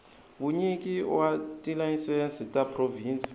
vunyiki wa tilayisense ta provhinsi